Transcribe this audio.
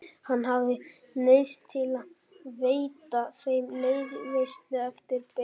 Hann hafði neyðst til að veita þeim liðveislu eftir bestu getu.